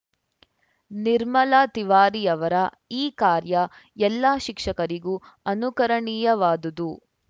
ನಿರ್ಮಲಾ ತಿವಾರಿಯವರ ಈ ಕಾರ್ಯ ಎಲ್ಲಾ ಶಿಕ್ಷಕರಿಗೂ ಅನುಕರಣೀಯವಾದುದು